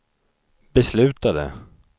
beslutade